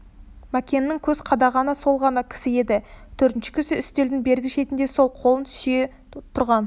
мәкеннің көз қадағаны сол ғана кісі еді төртінші кісі үстелдің бергі шетіне сол қолын сүйей тұрған